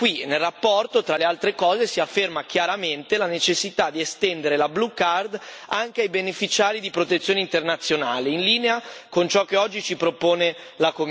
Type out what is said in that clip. Nella relazione, tra le altre cose, si afferma chiaramente la necessità di estendere la Blue Card anche ai beneficiari di protezione internazionale, in linea con ciò che oggi ci propone la Commissione.